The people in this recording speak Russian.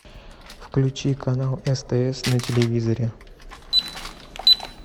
включи канал стс на телевизоре